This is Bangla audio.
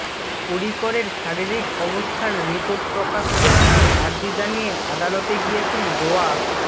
পর্রীকরের শারীরিক অবস্থার রিপোর্ট প্রকাশ্যে আনার আর্জি জানিয়ে আদালতে গিয়েছেন গোয়া